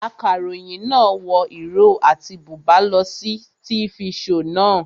Akaròyìn náà wọ ìró àti bùbá lọ sí tifi shoò naa